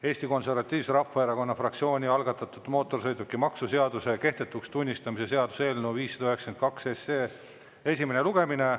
Eesti Konservatiivse Rahvaerakonna fraktsiooni algatatud mootorsõidukimaksu seaduse kehtetuks tunnistamise seaduse eelnõu 592 esimene lugemine.